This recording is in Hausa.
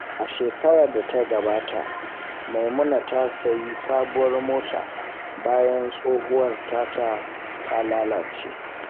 A shekarar da ta gabata, Maimuna ta sayi sabuwar mota bayan tsohuwar tata ta lalace.